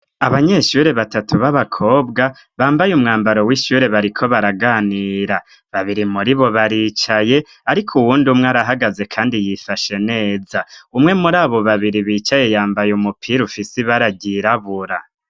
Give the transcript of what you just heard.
Abanyeshure batatu b'abakobwa bambaye umwambaro w'ishure bariko baraganira babiri muribo baricaye ariko uwundi umwe arahagaze kandi yifashe neza umwe muri abo babiri bicaye yambaye umupira ufise ibara ryirabura.